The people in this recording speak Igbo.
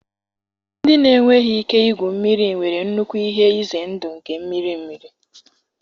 Ndị na-enweghị ike igwu mmiri nwere nnukwu ihe ize ndụ nke mmiri mmiri.